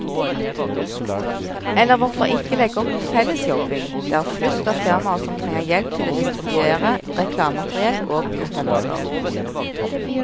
Eller hvorfor ikke legge opp til fellesjobbing, det er flust av firmaer som trenger hjelp til å distribuere reklamemateriell og kataloger.